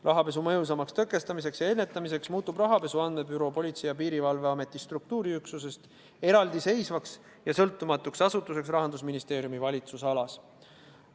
Rahapesu mõjusamaks tõkestamiseks ja ennetamiseks muudetakse rahapesu andmebüroo Politsei- ja Piirivalveameti struktuuriüksusest eraldiseisvaks ja sõltumatuks asutuseks, mis läheb Rahandusministeeriumi valitsusalasse.